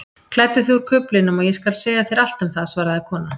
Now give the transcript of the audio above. Klæddu þig úr kuflinum og ég skal segja þér allt um það svaraði konan.